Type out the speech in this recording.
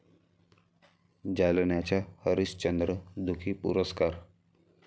जालन्याचा हरिश्चंद्र दुखी पुरस्कार